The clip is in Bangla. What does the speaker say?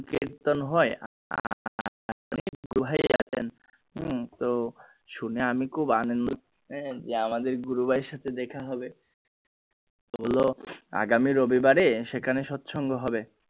কীর্তন হয় তো শুনে আমি খুব যে আমাদের গুরু ভাইয়ের সাথে দেখা হবে আগামী রবিবারে সেখানে সৎ সঙ্গ হবে।